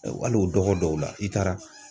Hali o dɔgɔ dɔw la, i taara.